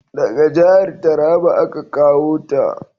Daga jahar Taraba a ka kawo ta